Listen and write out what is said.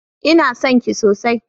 Ina son ki sosai